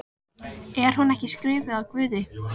Faðmlög þeirra í göngunum urðu að stríði.